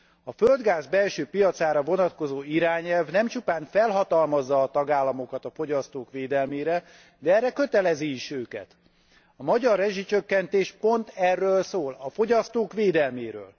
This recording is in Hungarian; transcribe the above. A földgáz belső piacára vonatkozó irányelv nem csupán felhatalmazza a tagállamokat a fogyasztók védelmére, de erre kötelezi is őket. A magyar rezsicsökkentés pont erről szól, a fogyasztók védelméről.